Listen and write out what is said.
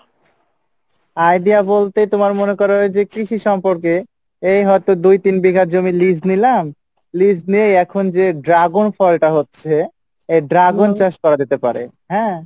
idea বলতে তোমার মনে করো যে কৃষি সম্পর্কে এই হয়তো দুই তিন বিঘা জমি lease নিলাম lease নিয়ে এখন যেই dragon ফলটা হচ্ছে সেই dragon চাষ করা যেতে পারে হ্যাঁ